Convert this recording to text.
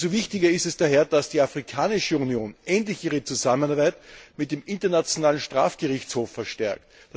Umso wichtiger ist es daher, dass die Afrikanische Union endlich ihre Zusammenarbeit mit dem Internationalen Strafgerichtshof verstärkt.